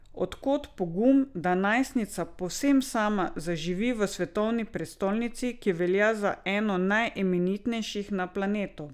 Od kod pogum, da najstnica povsem sama zaživi v svetovni prestolnici, ki velja za eno najimenitnejših na planetu?